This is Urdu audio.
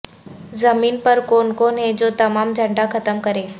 زمین پر کون کون ہے جو تمام جھنڈا ختم کرے